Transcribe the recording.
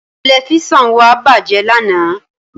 Tẹ̀lifísàn wa bájẹ̀ lánàá